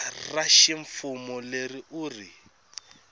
ra ximfumo leri u ri